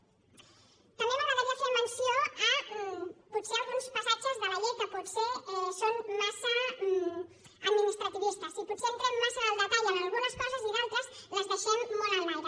també m’agradaria fer menció potser d’alguns passatges de la llei que potser són massa administrativistes i potser entrem massa en el detall en algunes coses i d’altres les deixem molt en l’aire